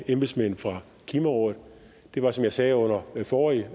embedsmænd fra klimarådet var som jeg sagde under den forrige